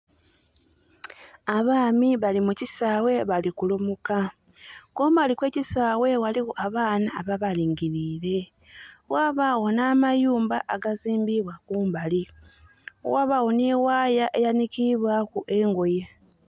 Abaami bali mukisaawe bali kulumuka. Kumbali kwe kisaawe waliwo abaana aba balingirire. Wabawo na mayumba agazimbbibwa kumbali. Wabawo ni waaya eyanikibwaku engoye